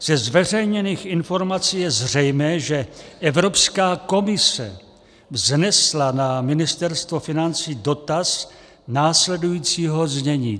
Ze zveřejněných informací je zřejmé, že Evropská komise vznesla na Ministerstvo financí dotaz následujícího znění.